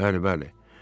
Bəli, bəli.